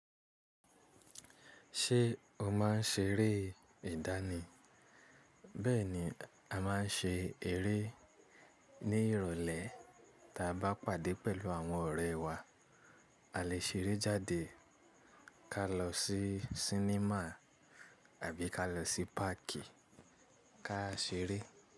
Ṣé o má ń ṣeré ìdánì? Bẹ́ẹ̀ni, a má ń ṣe eré ní ìrọ̀lẹ́ tí a bá pàdé pẹ̀lú àwọn ọ̀rẹ́ wa. A lè ṣeré jáde ká lọ sí sinimá àbí ká lọ sí páàkì ká ṣeré.